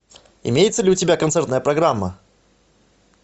имеется ли у тебя концертная программа